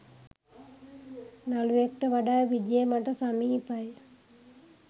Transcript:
නළුවෙක්ට වඩා විජය මට සමීපයි.